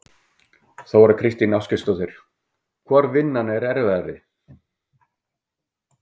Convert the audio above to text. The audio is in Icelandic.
Þóra Kristín Ásgeirsdóttir: Hvor vinnan er erfiðari?